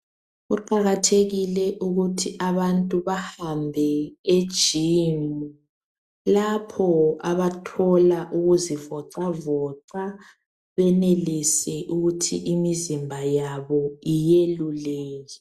Kuqakathekile ukuthi abantu bahambe ejimu, lapho abathola ukuzivoxavoxa benelise ukuthi imizimba yabo iyeluleke.